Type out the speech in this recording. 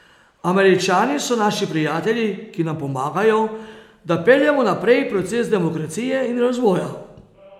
Američani so naši prijatelji, ki nam pomagajo, da peljemo naprej proces demokracije in razvoja.